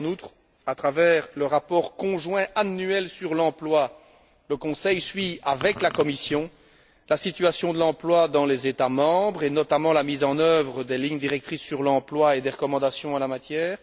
En outre, à travers le rapport conjoint annuel sur l'emploi, le Conseil suit, avec la Commission, la situation de l'emploi dans les États membres et notamment la mise en œuvre des lignes directrices sur l'emploi et des recommandations en la matière.